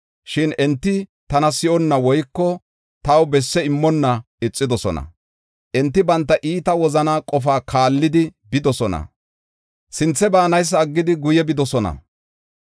Shin enti tana si7onna woyko taw besse immonna ixidosona. Enti banta iita wozanaa qofaa kaallidi bidosona; sinthe baanaysa aggidi guye bidosona.